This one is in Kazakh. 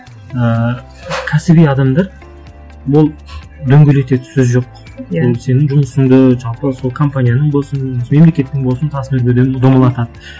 ыыы кәсіби адамдар ол дөңгелетеді сөз жоқ иә ол сенің жұмысыңды жалпы сол компанияның болсын мемлекеттің болсын тасын өрге домалатады